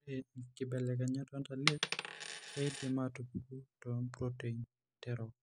Ore inkibelekenyat entalipa keidim aatupuku toompuroteini terok.